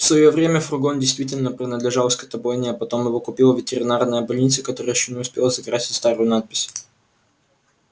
в своё время фургон действительно принадлежал скотобойне а потом его купила ветеринарная больница которая ещё не успела закрасить старую надпись